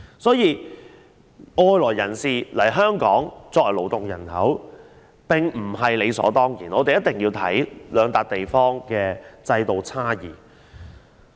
所以，外來人士來港作為勞動人口並非理所當然，一定要視乎兩地在制度上的差異而定。